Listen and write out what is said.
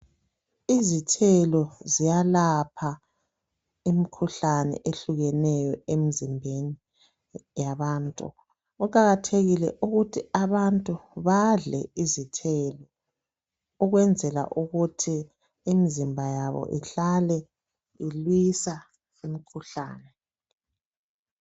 Izithelo ziyalapha imikhuhlane ehlukeneyo emzimbeni yabantu. Kuqakathekile ukuthi abantu badle izithelo ukwenzela ukuthi imzimba yabo ihlale ilwisa imikhuhlane.